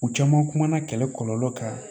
U caman kumana kɛlɛ kɔlɔlɔ kan